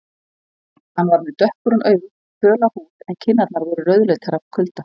Hann var með dökkbrún augu, föla húð en kinnarnar voru rauðleitar af kulda.